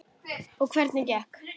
Og hvernig gekk?